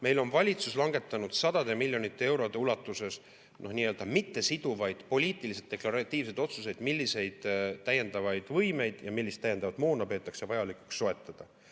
Meil on valitsus langetanud sadade miljonite eurode ulatuses mittesiduvaid, poliitiliselt deklaratiivseid otsuseid, milliseid täiendavaid võimeid ja millist täiendavat moona peetakse vajalikuks soetada.